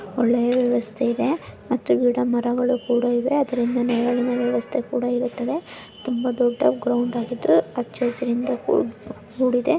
ಒಳ್ಳೆಯ ವ್ಯವಸ್ಥೆ ಇದೆ ಮತ್ತು ಗಿಡಮರಗಳು ಕೂಡ ಇದೆ ಅದರಿಂದ ನೆರಳಿನ ವ್ಯವಸ್ಥೆ ಕೂಡ ಇರುತ್ತೆ ತುಂಬಾ ದೊಡ್ಡ ಗ್ರೌಂಡ್‌ ಆಗಿದ್ದು ಹಚ್ಚ ಹಸಿರಿನಿಂದ ಕೂಡಿದೆ